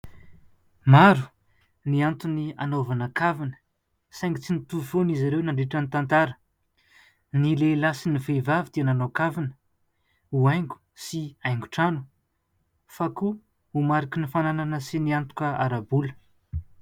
Maro ny antony anaovana kavina, saingy tsy nitovy foana izy ireo, nandritra ny tantara. Ny lehilahy sy ny vehivavy dia nanao kavina, ho haingo sy haingon-trano ; fa koa ho mariky ny fananana, sy ny antoka ara-bola.